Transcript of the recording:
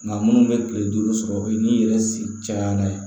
Nga munnu be kile duuru sɔrɔ o ye n'i yɛrɛ sen cayara